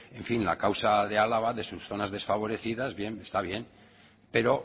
en fin la causa de álava de sus zonas desfavorecidas bien está bien pero